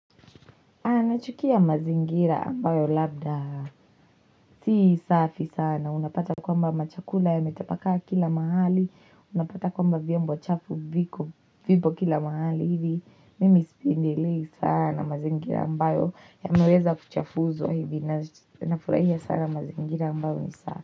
Anachukia mazingira ambayo labda, sii safi sana, unapata kwamba machakula yametapakaa kila mahali, unapata kwamba vyombo chafu viko, vipo kila mahali hivi, mimi sipindelei sana mazingira ambayo, yameweza kuchafuzwa hivi, nafurahia sana mazingira ambayo ni safi.